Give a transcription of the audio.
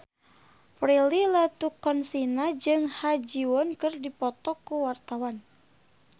Prilly Latuconsina jeung Ha Ji Won keur dipoto ku wartawan